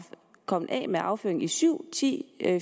kommet af med afføringen i syv ti